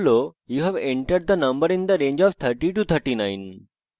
output you have entered the number in the range of 30 to 39 হিসাবে প্রদর্শিত হয়েছে